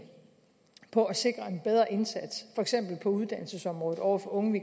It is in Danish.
på at sikre en bedre indsats for eksempel på uddannelsesområdet over for unge